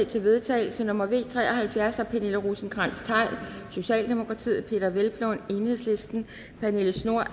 til vedtagelse nummer v tre og halvfjerds af pernille rosenkrantz theil peder hvelplund pernille schnoor